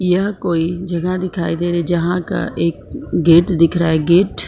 यह कोई जगह दिखाई दे रही जहां का एक गेट दिख रहा है गेट ।